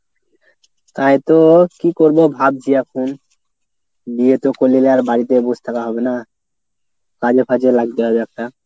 তাইতো। কী করবো ভাবছি এখন। বিয়ে তো করে লিলে আর বাড়িতে বসে থাকা হবে না। কাজে ফাজে লাগতে হবে একটা।